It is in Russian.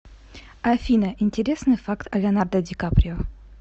афина интересный факт о леонардо ди каприо